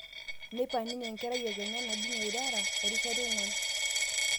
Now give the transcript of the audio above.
Neipa ninye enkerai ekenya naji Nyaireira erishata eong'wan